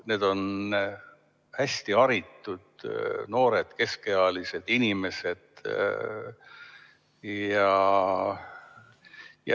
Need on hästi haritud noored keskealised inimesed.